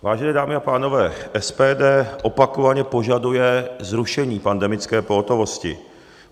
Vážené dámy a pánové, SPD opakovaně požaduje zrušení pandemické pohotovosti.